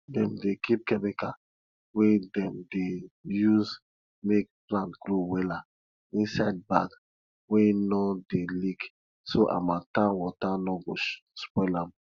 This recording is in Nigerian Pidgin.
dem dey kip chemical wey dem dey use make plant grow wella inside bag wey no dey leak so harmattan water no go spoil am